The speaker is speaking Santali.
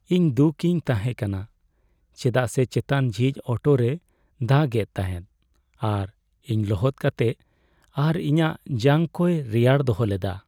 ᱤᱧ ᱫᱩᱠ ᱤᱧ ᱛᱟᱦᱮᱸ ᱠᱟᱱᱟ ᱪᱮᱫᱟᱜ ᱥᱮ ᱪᱮᱛᱟᱱ ᱡᱷᱤᱡ ᱚᱴᱳ ᱨᱮᱭ ᱫᱟᱜ ᱮᱫ ᱛᱟᱦᱮᱸᱜ ᱟᱨ ᱤᱧ ᱞᱚᱦᱚᱫ ᱠᱟᱛᱮᱜ ᱟᱨ ᱤᱧᱟᱜ ᱡᱟᱝ ᱠᱚᱭ ᱨᱮᱭᱟᱲ ᱫᱚᱦᱚ ᱞᱮᱫᱟ ᱾